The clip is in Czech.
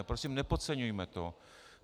A prosím, nepodceňujme to.